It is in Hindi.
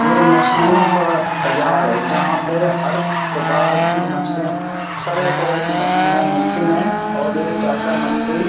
ये मछलियों का बाज़ार है जहाँ पे हर प्रकार की मछलियाँ तरह-तरह की मछलियाँ मिलती है और ये चाचा मछली --